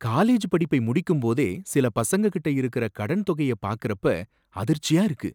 College படிப்பை முடிக்கும்போதே சில பசங்ககிட்ட இருக்குற கடன் தொகைய பார்க்கறப்ப அதிர்ச்சியா இருக்கு.